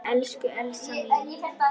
Elsku Elsa mín.